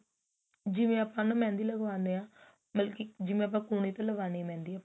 ਜਿਵੇਂ ਆਪਾਂ ਨਾ mehendi ਲੱਗਵਾਨੇ ਆ ਮਤਲਬ ਕੀ ਜਿਵੇਂ ਆਪਾਂ ਕੂਹਣੀ ਤੇ ਲਗਵਾਨੀ ਏ mehendi